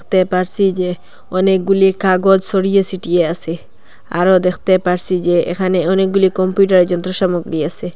তে পারছি যে অনেকগুলি কাগজ ছড়িয়ে ছিটিয়ে আসে আরো দেখতে পারছি যে এখানে অনেকগুলি কম্পিউটারে র যন্ত্র সামগ্রী আসে।